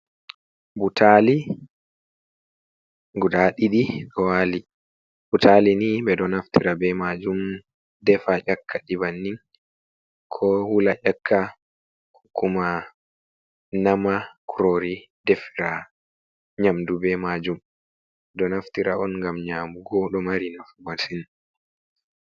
Butali guda ɗiɗi ɗo wali. Butali ni ɓeɗo naftira be majum defa ƴakka ɗi bannin, ko wula ƴakka, ko kuma nama kurori defira nyamdu be majum. Ɗo naftira on ngam nyamugo ɗo mari nafu masin.